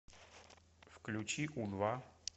включи у два